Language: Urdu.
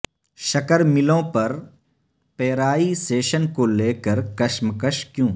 شکر ملوں پر پیرائی سیشن کو لیکر کشمکش کیوں